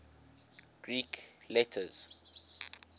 greek letters